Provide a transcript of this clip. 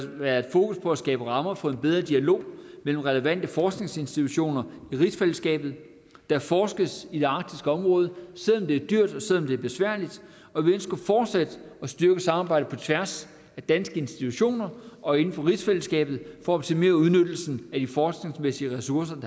været fokus på at skabe rammer for en bedre dialog mellem relevante forskningsinstitutioner i rigsfællesskabet der forskes i det arktiske område selv om det er dyrt og selv om det er besværligt og vi ønsker fortsat at styrke samarbejdet på tværs af danske institutioner og inden for rigsfællesskabet for at optimere udnyttelsen af de forskningsmæssige ressourcer